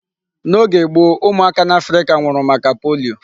N'oge gboo, ụmụaka n'Africa nwụrụ maka polio.